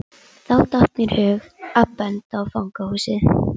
Þá datt mér í hug að benda á fangahúsið.